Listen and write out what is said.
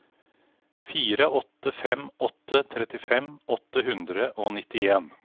fire åtte fem åtte trettifem åtte hundre og nittien